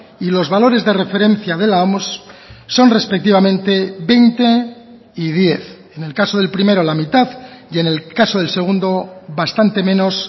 y los valores de referencia de la oms son respectivamente veinte y diez en el caso del primero la mitad y en el caso del segundo bastante menos